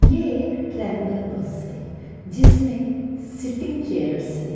यह एक traveller bus है। जिसमें सिटिंग चेयर्स है।